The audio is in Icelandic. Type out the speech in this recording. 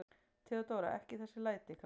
THEODÓRA: Ekki þessi læti, krakkar.